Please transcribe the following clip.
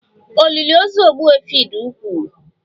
Olili ozu Ogbuefi dị ukwuu